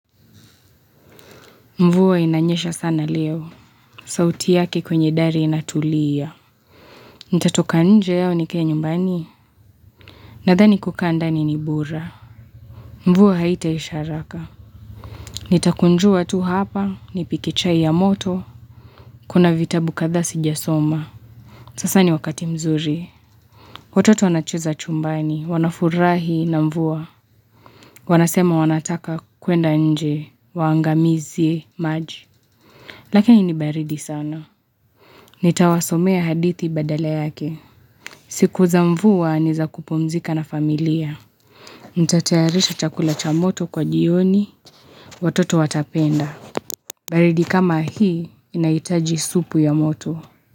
Mvua inanyesha sana leo. Sauti yake kwenye dari inatulia. Nitatoka nje au nikae nyumbani. Nadhani kukaa ndani ni.bora. Mvua haita isharaka. Nitakunjua tu hapa. Nipike chai ya moto. Kuna vita bukadhasi jasoma. Sasa ni wakati mzuri. Watoto wanacheza chumbani. Wanafurahi na mvuwa. Wanasema wanataka kuenda nje. Waangamize maji. Lakini ni baridi sana. Nitawasomea hadithi badala yake. Sikuza mvua nizakupumzika na familia. Ntatayarisha chakula cha moto kwa jioni. Watoto watapenda. Baridi kama hii inaitaji supu ya moto.